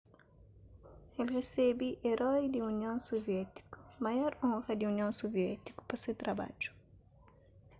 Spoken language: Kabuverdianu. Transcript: el resebe eroi di union suviétiku maior onra di union suviétiku pa se trabadju